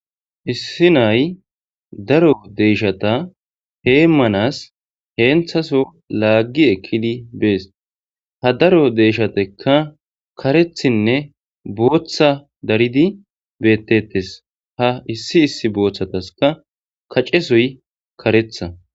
issi nay daro deeshata hee manas heenthaso laaggi ekkidi bees ha daro deeshatekka karethinne booththa daridi beettetes ha issi issi booththataska kacesoy karetha